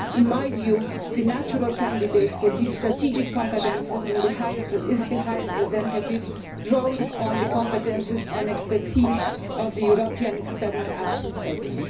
In my view, the natural candidate for these strategic competences is the High Representative, drawing on the competences and expertise of the European External Action Service.